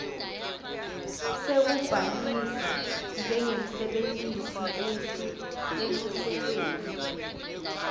sekubhalisa njengemsebentisi eluhlelweni